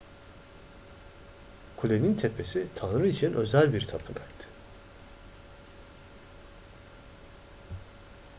kulenin tepesi tanrı için özel bir tapınaktı